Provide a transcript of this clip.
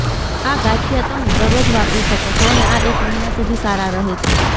આ ગાંઠિયા તમે દરરોજ વાપરી શકો છો અને આ એક મહિના સુધી સારા રહે છે